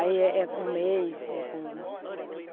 Aí é um mês. É um